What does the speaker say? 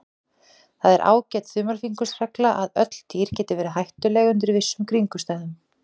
Það er ágæt þumalfingursregla að öll dýr geta verið hættuleg undir vissum kringumstæðum.